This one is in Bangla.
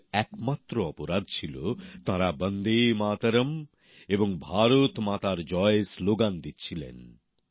ওঁদের একমাত্র অপরাধ ছিল তাঁরা বন্দে মাতরম এবং ভারত মাতার জয় স্লোগান দিচ্ছিলেন